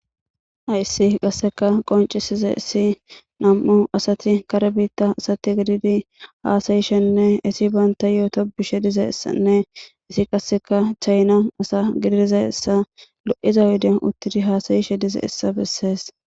Ayisi qasseka qoncisiza issi nam7u asati kare biitta asati gididi haasayishenne isi baynta yooto bishe diza essanne isi qasseka chayna asa gididiza essa lo7iza hude uttidi haasayishe dize essa bessees.